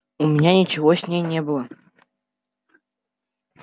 у меня ничего с ней не было